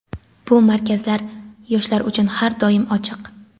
Bu markazlar yoshlar uchun har doim ochiq.